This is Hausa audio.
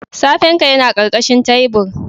Sefen ka yana karkashin tabir